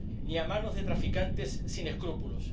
ni a manos de traficantes sin escrúpulos.